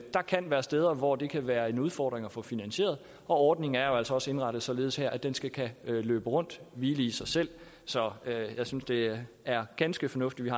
kan være steder hvor det kan være en udfordring at få finansieret det ordningen er jo altså også indrettet således at den skal kunne løbe rundt hvile i sig selv så jeg synes det er ganske fornuftigt